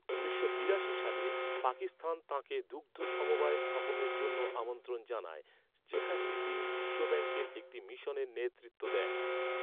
উনিশশো বিরাশি সালে, পাকিস্তান তাঁকে দুগ্ধ সমবায় স্থাপনের জন্য আমন্ত্রণ জানায়, যেখানে তিনি বিশ্বব্যাঙ্কের একটি মিশনের নেতৃত্ব দেন।